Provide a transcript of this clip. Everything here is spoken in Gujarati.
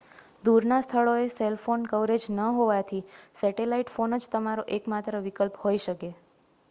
દૂરના સ્થળોએ સેલ ફોન કવરેજ ન હોવાથી સેટેલાઇટ ફોન જ તમારો એક માત્ર વિકલ્પ હોઈ શકે